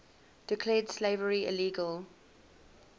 declared slavery illegal